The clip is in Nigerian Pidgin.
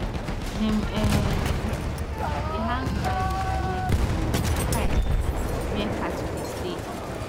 dem um dey hang dry bitter leaf for um where cattle dey stay